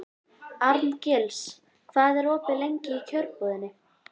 Arngils, hvað er opið lengi í Kjörbúðinni?